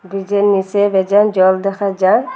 ব্রিজের নীচে বেজান জল দেখা যার।